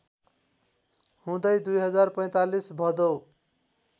हुँदै २०४५ भदौ